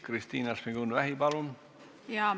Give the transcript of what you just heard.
Kristina Šmigun-Vähi, palun!